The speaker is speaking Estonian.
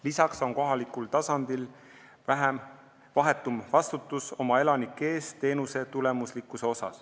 Lisaks on kohalikul tasandil vahetum vastutus oma elanike ees, et teenus oleks tulemuslik.